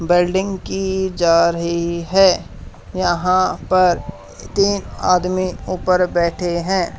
Building की जा रही है यहां पर तीन आदमी ऊपर बैठे हैं।